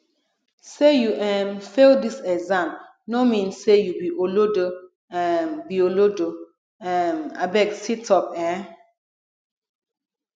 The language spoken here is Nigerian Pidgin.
sey you um fail dis exam no mean sey you be olodo um be olodo um abeg situp um